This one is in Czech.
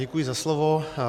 Děkuji za slovo.